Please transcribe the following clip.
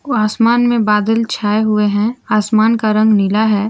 आसमान में बादल छाए हुए हैं आसमान का रंग नीला है।